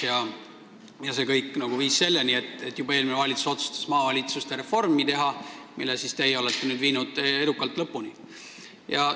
Ja see kõik viis selleni, et juba eelmine valitsus otsustas teha maavalitsuste reformi, mille teie olete edukalt lõpuni viinud.